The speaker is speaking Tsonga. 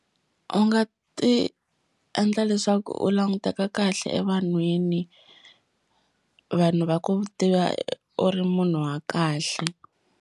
U nga ti endla leswaku u languteka kahle evanhwini vanhu va ku tiva u ri munhu wa kahle.